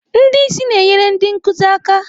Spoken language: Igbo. Ndị isi na-enyere ndị nkuzi aka.